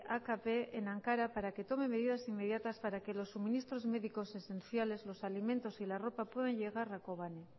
akp en ankara para que tome medidas inmediatas para que los suministros médicos esenciales los alimentos y la ropa puedan llegar a kobane